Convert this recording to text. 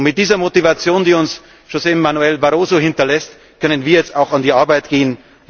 Mit dieser Motivation, die uns José Manuel Barroso hinterlässt, können wir jetzt auch an die Arbeit gehen.